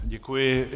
Děkuji.